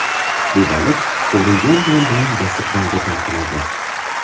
Bu baliq qovurilgan non bilan dasturxonga tortiladi.